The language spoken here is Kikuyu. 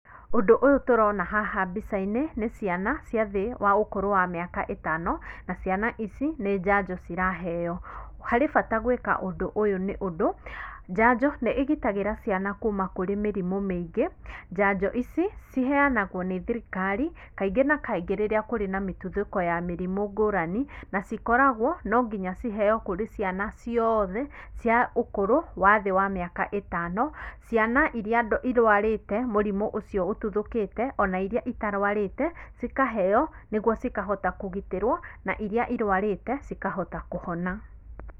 Ũndũ ũyũ tũrona haha mbica-inĩ, nĩ ciana cia thĩ wa ũkũrũ wa mĩaka ĩtano, na ciana ici, nĩ njanjo ciraheo. Harĩ bata gwĩka ũndũ ũyũ nĩũndũ, njanjo nĩ ĩgitagĩra ciana kuuma kũrĩ mĩrimũ mĩingĩ, njanjo ici ciheanagwo nĩ thirikari, kaingĩ na kaingĩ rĩrĩa kũrĩ na mĩtuthũko ya mĩrimũ ngũrani, na cikoragwo no nginya ciheo kũrĩ ciana ciothe cia ũkũrũ wa thĩ wa mĩaka ĩtano, ciana iria irwarĩte mũrimũ ũcio ũtuthũkĩte, ona iria itarwarĩte, cikaheo nĩguo cikahota kũgitĩrwo, na iria irwarĩte cikahota kũhona.